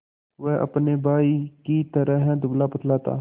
वह अपने भाई ही की तरह दुबलापतला था